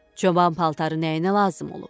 Çoban paltarı nəyinə lazım olub?